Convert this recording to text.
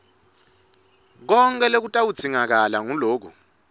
konkhe lokutawudzingakala nguloku